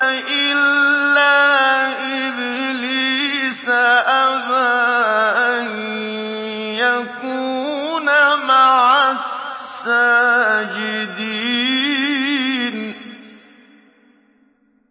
إِلَّا إِبْلِيسَ أَبَىٰ أَن يَكُونَ مَعَ السَّاجِدِينَ